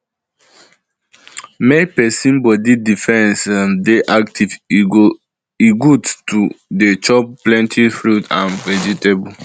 make persin body defense um dey active e good to um dey chop plenty fruit and vegetable